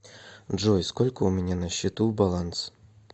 джой сколько у меня на счету баланс